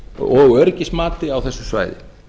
og öryggismati á þessu svæði